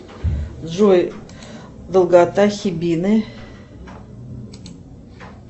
джой долгота хибины